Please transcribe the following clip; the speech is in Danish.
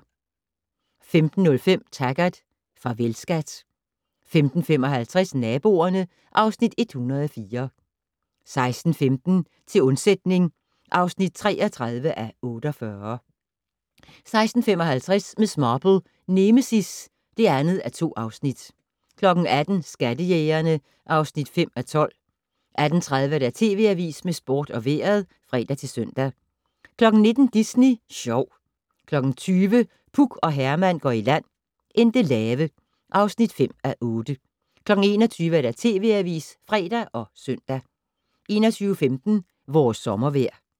15:05: Taggart: Farvel, skat 15:55: Naboerne (Afs. 104) 16:15: Til undsætning (33:48) 16:55: Miss Marple: Nemesis (2:2) 18:00: Skattejægerne (5:12) 18:30: TV Avisen med sport og vejret (fre-søn) 19:00: Disney Sjov 20:00: Puk og Herman går i land - Endelave (5:8) 21:00: TV Avisen (fre og søn) 21:15: Vores sommervejr